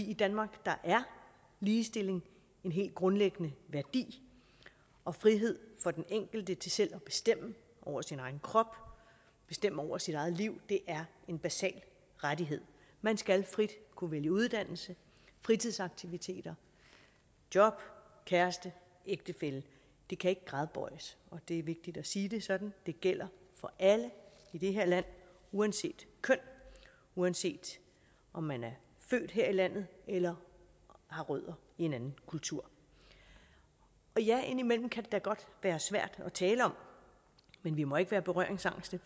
i danmark er ligestilling en helt grundlæggende værdi og frihed for den enkelte til selv at bestemme over sin egen krop at bestemme over sit eget liv er en basal rettighed man skal frit kunne vælge uddannelse fritidsaktiviteter job kæreste ægtefælle det kan ikke gradbøjes og det er vigtigt at sige det sådan det gælder for alle i det her land uanset køn uanset om man er født her i landet eller har rødder i en anden kultur og ja indimellem kan det da godt være svært at tale om men vi må ikke være berøringsangste